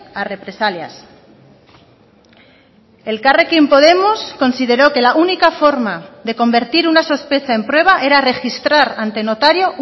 a represalias elkarrekin podemos consideró que la única forma de convertir una sospecha en prueba era registrar ante notario